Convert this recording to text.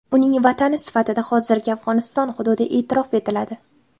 Uning vatani sifatida hozirgi Afg‘oniston hududi e’tirof etiladi.